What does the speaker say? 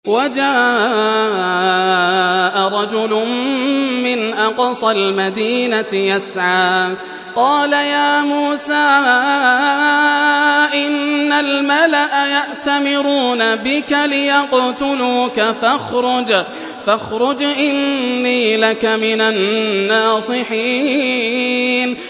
وَجَاءَ رَجُلٌ مِّنْ أَقْصَى الْمَدِينَةِ يَسْعَىٰ قَالَ يَا مُوسَىٰ إِنَّ الْمَلَأَ يَأْتَمِرُونَ بِكَ لِيَقْتُلُوكَ فَاخْرُجْ إِنِّي لَكَ مِنَ النَّاصِحِينَ